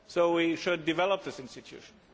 We should develop this institution.